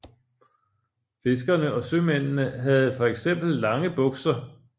Fiskerne og sømændene havde for eksempel lange bukser